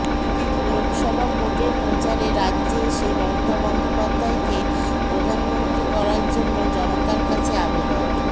লোকসভা ভোটের প্রচারে রাজ্যে এসে মমতা বন্দ্যোপাধ্যায়কে প্রধানমন্ত্রী করার জন্য জনতার কাছে আবেদন